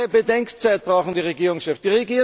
Zwei Jahre Bedenkzeit brauchen die Regierungschefs!